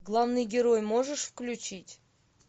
главный герой можешь включить